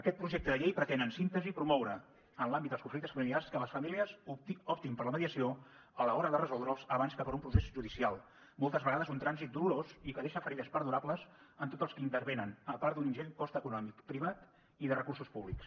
aquest projecte de llei pretén en síntesi promoure en l’àmbit dels conflictes familiars que les famílies optin per la mediació a l’hora de resoldre’ls abans que per un procés judicial moltes vegades un trànsit dolorós i que deixa ferides perdurables en tots els que hi intervenen a part d’un ingent cost econòmic privat i de recursos públics